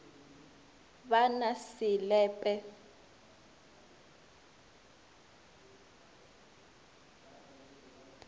ba na se le pe